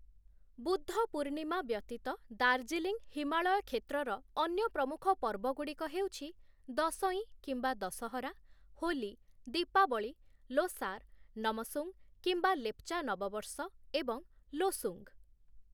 ବୁଦ୍ଧ ପୂର୍ଣ୍ଣିମା ବ୍ୟତୀତ ଦାର୍ଜିଲିଂ ହିମାଳୟ କ୍ଷେତ୍ରର ଅନ୍ୟ ପ୍ରମୁଖ ପର୍ବଗୁଡ଼ିକ ହେଉଛି ଦଶଇଁ କିମ୍ବା ଦଶହରା, ହୋଲି, ଦୀପାବଳି, ଲୋସାର, ନମସୁଙ୍ଗ କିମ୍ବା ଲେପଚା ନବବର୍ଷ, ଏବଂ ଲୋସୁଙ୍ଗ ।